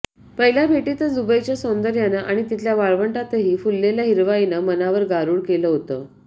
पहिल्या भेटीतच दुबईच्या सौंदर्यानं आणि तिथल्या वाळवंटातही फुललेल्या हिरवाईनं मनावर गारुड केलं होतं